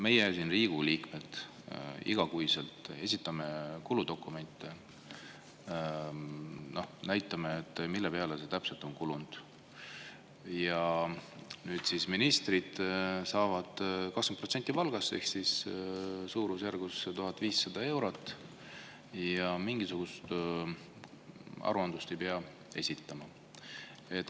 Meie siin, Riigikogu liikmed, esitame iga kuu kuludokumente, näitame, mille peale täpselt on kulunud, aga ministrid saavad 20% palgast ehk suurusjärgus 1500 eurot ja mingisugust aruandlust esitama ei pea.